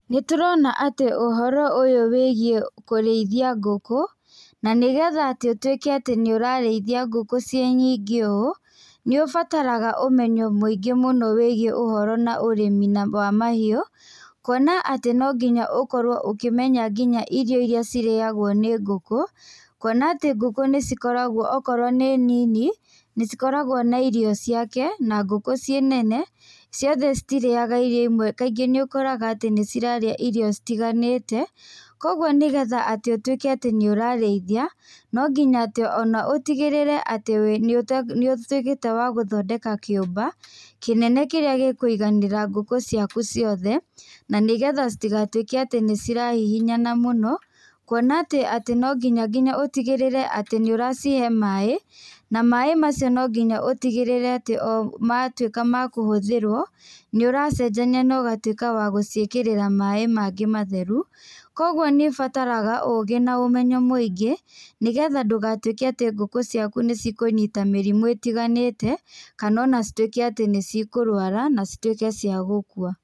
Nĩtũrona atĩ ũhoro ũyũ wĩgiĩ kũrĩithia ngũkũ na nĩgetha ũtuĩke atĩ nĩũrarĩithia ngũkũ ciĩ nyingĩ ũũ, nĩũbataraga ũmenyo mũingĩ mũno wĩgiĩ ũhoro na ũrĩmi wa mahiũ, kũona atĩ no nginya ũkorwo ũkĩmenya nginya irio iria cirĩagwo nĩ ngũkũ kuona atĩ ngũkũ nĩ cikoragwo okorwo nĩ nini, nĩ cikoragwo na irio ciake, na ngũkũ ciĩnene , ciothe citirĩga irio imwe, kaingĩ nĩ ũkoraga atĩ nĩcirarĩa irio citiganĩte, kũoguo nĩgetha atĩ ũtuĩke atĩ nĩ ũrarĩithia, no nginya atĩ ũtigĩrĩre atĩ nĩũtuĩkĩte wa gũthondeka kĩũmba kĩnene kĩrĩa gĩkũiganĩra ngũkũ ciaku ciothe na nĩgetha citigatuĩke atĩ nĩcirahihinyana mũno, kuona ati no nginya ũtigĩrĩre atĩ nĩũracihe maĩ na maĩ macio no nginya ũtigĩrĩre atĩ matuĩka makũhũthĩrwo, nĩũracenjania na ũgatuĩka wa gũciĩkĩrĩra maĩ mangĩ matheru, koguo nĩũbataraga ũgĩ na ũmenyo mũingĩ, nĩgetha ndũgatuĩke atĩ ngũkũ ciaku nĩ cikũnyita mĩrimũ ĩtiganĩte, kana ona citũĩke atĩ nĩ cikũrwara na cituĩke ciagũkua.